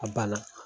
A banna